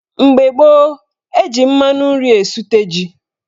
Mgbe gboo, eji mmanụ nri esute ji.